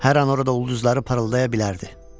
Hər an orada ulduzlar parıldaya bilərdi.